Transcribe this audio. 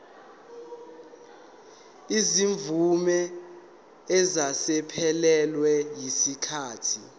izimvume eseziphelelwe yisikhathi